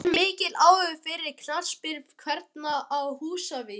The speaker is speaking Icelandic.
Er mikill áhugi fyrir knattspyrnu kvenna á Húsavík?